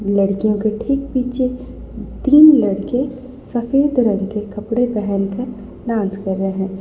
लड़कियों के ठीक पीछे तीन लड़के सफेद रंग के कपड़े पहन कर डांस कर रहे हैं।